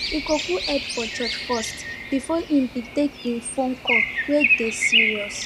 he go cool head for church first before him bin make en phone call wey dey serious